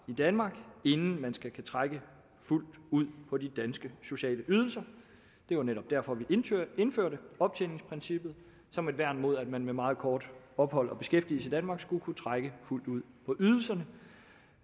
i danmark inden man skal kunne trække fuldt ud på de danske sociale ydelser det var netop derfor vi indførte optjeningsprincippet som værn mod at man med meget kortvarigt ophold og beskæftigelse i danmark skulle kunne trække fuldt ud på ydelserne